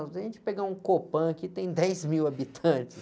Se a gente pegar um Copan, aqui tem dez mil habitantes.